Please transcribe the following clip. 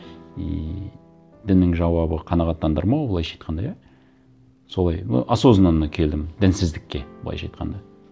и діннің жауабы қанағаттандырмау былайша айтқанда иә солай ну осознанно келдім дінсіздікке былайша айтқанда